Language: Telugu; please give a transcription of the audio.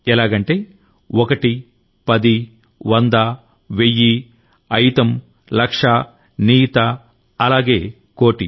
ఎలాగంటే ఒకటి పది వంద వెయ్యి అయుతం లక్ష నియుత అలాగే కోటి